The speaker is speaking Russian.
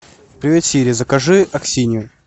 привет сири закажи аксинью